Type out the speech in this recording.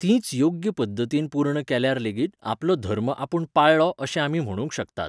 तींच योग्य पद्दतीन पूर्ण केल्यार लेगीत आपलो धर्म आपूण पाळळो अशें आमी म्हणूंक शकतात.